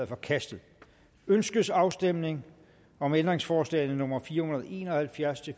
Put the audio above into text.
forkastet ønskes afstemning om ændringsforslag nummer fire hundrede og en og halvfjerds til